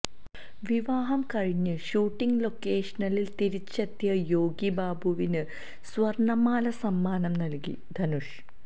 വിവാഹം കഴിഞ്ഞ് ഷൂട്ടിംഗ് ലൊക്കേഷനിൽ തിരിച്ചെത്തിയ യോഗി ബാബുവിന് സ്വർണ്ണ മാല സമ്മാനം നൽകി ധനുഷ്